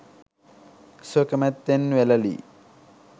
ස්වකැමැත්තෙන් වැළලී